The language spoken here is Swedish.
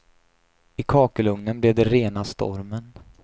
I kakelugnen blev det rena stormen.